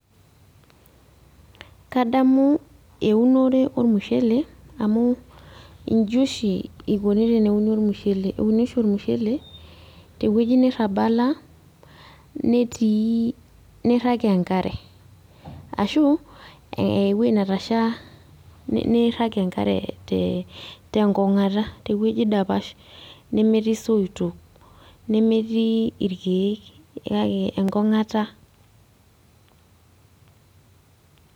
Nadamu eunore ormushele amu iji oshi ikuni teneuni ormushele. Euni oshi ormushele tewueji nirrabala, netii nirrag enkare. Ashu ewoi netasha, nirrag enkare tenkong'ata, tewueji dapash, nemetii isoitok, nemetii irkeek, kake enkong'ata.